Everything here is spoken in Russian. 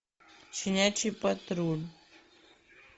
щенячий патруль